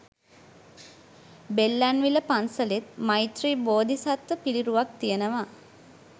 බෙල්ලන්විල පන්සලෙත් මෛත්‍රි බෝධිසත්ව පිළිරුවක් තියනවා.